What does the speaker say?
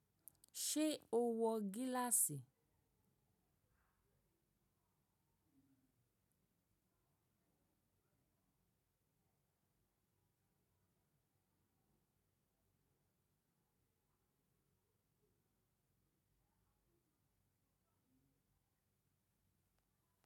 Ṣé o wọ gíláàsì?